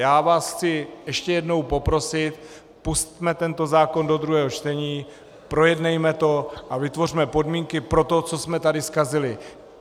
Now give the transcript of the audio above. Já vás chci ještě jednou poprosit, pusťme tento zákon do druhého čtení, projednejme to a vytvořme podmínky pro to, co jsme tady zkazili.